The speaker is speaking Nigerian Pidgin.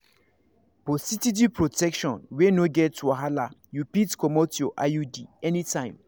for steady protection wey no get wahala you fit comot your iud anytime.